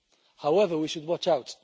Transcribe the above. However, we should watch out.